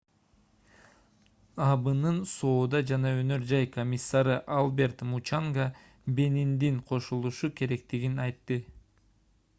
абнын соода жана өнөр жай комиссары альберт мучанга бениндин кошулушу керектигин айтты